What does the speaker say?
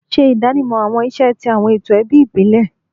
Ṣe idanimọ awọn iṣẹ ti awọn eto ẹbi ibile